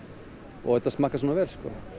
og þetta smakkast svona vel